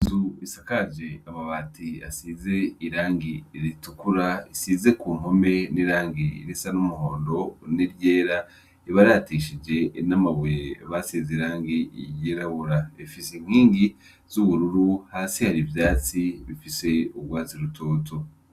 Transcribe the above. Isakaje amabati asize irangi ritukura isize ku mkome n'irangi irisa n'umuhondo ni ryera ibaratishije inamabuye basize irangi iyerabura efise inkwingi z'ubururu hasi hari ivyatsi bifise urwazi rutotu.